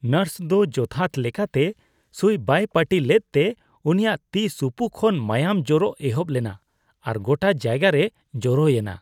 Nurse ᱫᱚ ᱡᱚᱛᱷᱟᱛ ᱞᱮᱠᱟᱛᱮ ᱥᱩᱭ ᱵᱟᱭ ᱯᱟᱹᱴᱤ ᱞᱮᱫᱛᱮ ᱩᱱᱤᱭᱟᱜ ᱛᱤ ᱥᱩᱯᱩ ᱠᱷᱚᱱ ᱢᱟᱭᱟᱝ ᱡᱚᱨᱚᱜ ᱮᱦᱚᱯ ᱞᱮᱱᱟ ᱟᱨ ᱜᱚᱴᱟ ᱡᱟᱭᱜᱟ ᱨᱮ ᱡᱚᱨᱚᱭ ᱮᱱᱟ ᱾